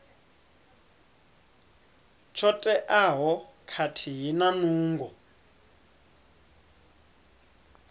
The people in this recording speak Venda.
tsho teaho khathihi na nungo